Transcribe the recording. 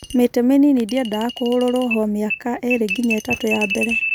Mĩtĩ mĩnini ndĩendaga kũhũrũrwo hw miaka ĩrĩ nginya ĩtatu ya mbere.